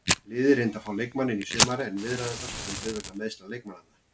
Liðið reyndi að fá leikmanninn í sumar en viðræðurnar strönduðu vegna meiðsla leikmannanna.